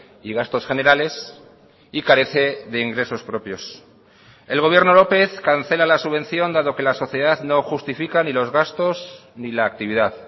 y gastos generales y carece de ingresos propios el gobierno lópez cancela la subvención dado que la sociedad no justifica ni los gastos ni la actividad